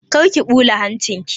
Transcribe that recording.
Kar ki ɓula hancin ki!